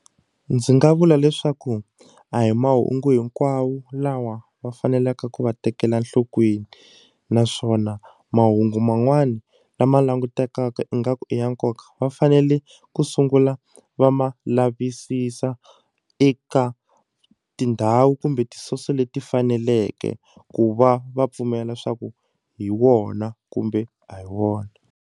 Ndzi nga vula leswaku a hi mahungu hinkwawo lawa va faneleke ku wa tekela enhlokweni naswona mahungu man'wana lama langutekaka ingaku i ya nkoka va fanele ku sungula va ma lavisisa eka tindhawu kumbe ti-source leti faneleke ku va va pfumela swa ku hi wona kumbe a hi wona.